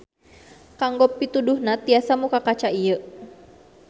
Kanggo pituduhna tiasa muka kaca ieu.